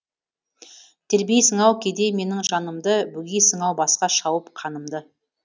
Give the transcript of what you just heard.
тербейсің ау кейде менің жанымды бөгейсің ау басқа шауып қанымды